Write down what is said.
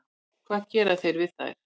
Hvað gera þeir við þær?